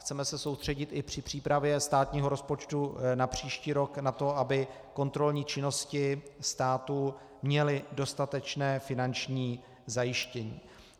Chceme se soustředit i při přípravě státního rozpočtu na příští rok na to, aby kontrolní činnosti státu měly dostatečné finanční zajištění.